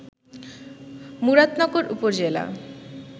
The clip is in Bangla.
মুরাদনগর উপজেলা